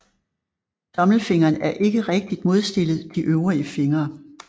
Tommelfingeren er ikke rigtigt modstillet de øvrige fingre